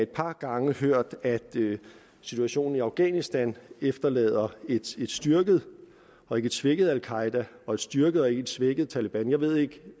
par gange hørt at situationen i afghanistan efterlader et styrket og ikke et svækket al qaeda og et styrket og ikke et svækket taleban jeg ved ikke